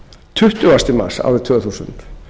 tuttugasta mars árið tvö þúsund